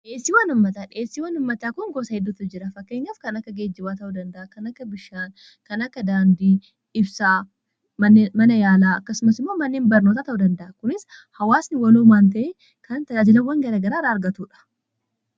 dheessii wanummataa dheessii wanummataa kon goosaa hiddutu jira fakkeenyaaf kanakka geejjiwaa ta'uu danda'a kan akka bishaan kan akka daandii ibsaa mana yaalaa kasumas immoo manneein barnootaa ta'uu danda'a kunis hawaasni waloo maantee kana tajaajilawwan garagaraara argatuudha